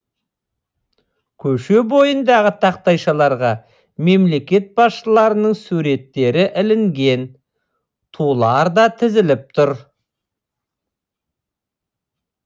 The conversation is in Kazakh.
көше бойындағы тақтайшаларға мемлекет басшыларының суреттері ілінген тулар да тізіліп тұр